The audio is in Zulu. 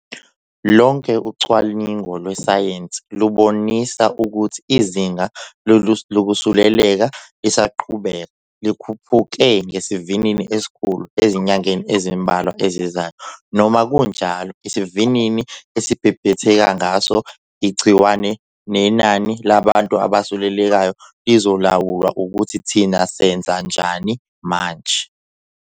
Lonke ucwaningo lwesayensi lubonisa ukuthi izinga lokusuleleka lisazoqhubeka likhuphuke ngesivinini esikhulu ezinyangeni ezimbalwa ezizayo. Noma kunjalo, isivinini elibhebhetheka ngaso igciwane nenani labantu abasulelekayo lizolawulwa ukuthi thina senzani manje.